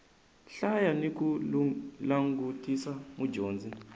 hlaya ni ku langutisa mudyondzi